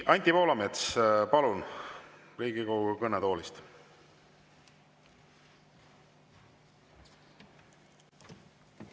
Anti Poolamets, palun, Riigikogu kõnetoolist!